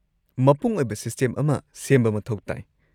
ꯃꯄꯨꯡ ꯑꯣꯏꯕ ꯁꯤꯁꯇꯦꯝ ꯑꯃ ꯁꯦꯝꯕ ꯃꯊꯧ ꯇꯥꯏ꯫